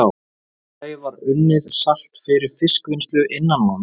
Í öðru lagi var unnið salt fyrir fiskvinnslu innanlands.